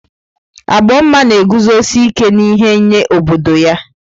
Agbomma na-eguzosi ike n'ihe nye obodo ya.